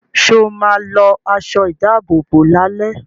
Sọ ma lọ aṣọ ìdábòbò lálẹ́?